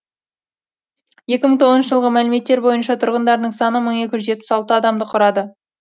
екі мың тоғызыншы жылғы мәліметтер бойынша тұрғындарының саны мың екі жүз жетпіс алты адамды құрады